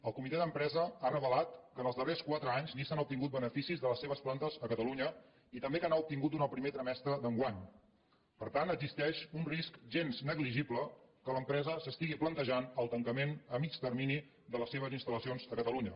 el comitè d’empresa ha revelat que en els darrers quatre anys nissan ha obtingut beneficis de les seves plantes a catalunya i també que n’ha obtingut durant el primer trimestre d’enguany per tant existeix un risc gens negligible que l’empresa s’estigui plantejant el tancament a mitjà termini de les seves instal·lacions a catalunya